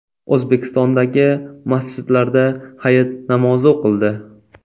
O‘zbekistondagi masjidlarda Hayit namozi o‘qildi.